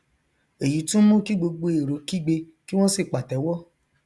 èyí tún mú kí gbogbo èrò kígbe kí wọn sì pàtẹwọ